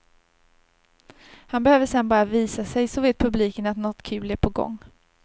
Han behöver sedan bara visa sig så vet publiken att något kul är på gång.